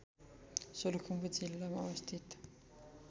सोलुखुम्बु जिल्लामा अवस्थित